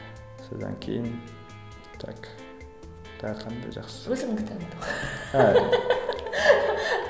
содан кейін так тағы қандай жақсы өзіңнің кітабың